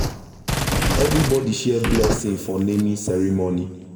everybody share blessing for naming ceremony.